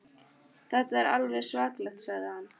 Þetta er alveg svakalegt sagði hann.